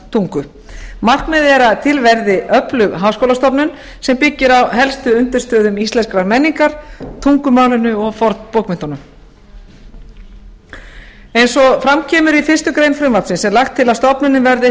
tungu markmiðið er að til verði öflug háskólastofnun sem byggir á helstu undirstöðum íslenskrar menningar tungumálinu og fornbókmenntunum eins og fram kemur í fyrstu grein frumvarpsins er lagt til að stofnunin verði